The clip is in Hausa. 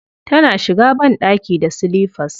Tana shiga banɗaki da silifas.